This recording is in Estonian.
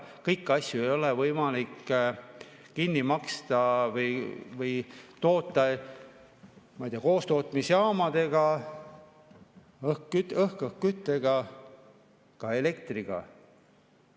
Kõiki asju ei ole võimalik kinni maksta või toota, ma ei tea, koostootmisjaamadega, õhkküttega, ka elektriga.